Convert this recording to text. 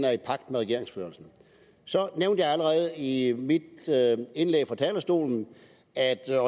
er i pagt med regeringsførelsen så nævnte jeg allerede i mit indlæg på talerstolen at jeg